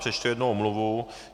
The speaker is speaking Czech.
Přečtu jednu omluvu.